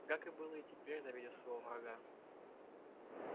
гак было и теперь завидев своего врага